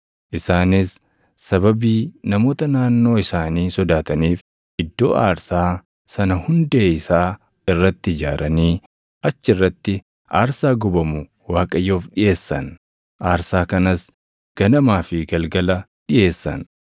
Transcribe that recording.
Isaanis sababii namoota naannoo isaanii sodaataniif iddoo aarsaa sana hundee isaa irratti ijaaranii achi irratti aarsaa gubamu Waaqayyoof dhiʼeessan; aarsaa kanas ganamaa fi galgala dhiʼeessan.